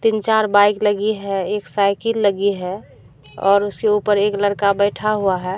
तीन चार बाइक लगी है एक साइकिल लगी है और उसके ऊपर एक लड़का बैठा हुआ है।